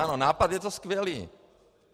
Ano, nápad je to skvělý.